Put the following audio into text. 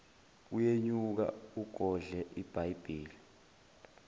uyenyuka ugodle ibhayibheli